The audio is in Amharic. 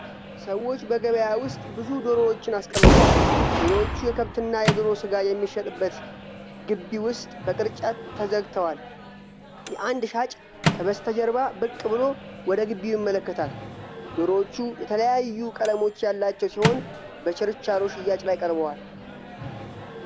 ሰዎች በገበያ ውስጥ ብዙ ዶሮዎችን አስቀምጠዋል። ዶሮዎቹ የከብትና የዶሮ ሥጋ የሚሸጥበት ግቢ ውስጥ በቅርጫት ተዘግተዋል። አንድ ሻጭ ከበስተጀርባ ብቅ ብሎ ወደ ግቢው ይመለከታል። ዶሮዎቹ የተለያዩ ቀለሞች ያላቸው ሲሆን በችርቻሮ ሽያጭ ላይ ቀርበዋል።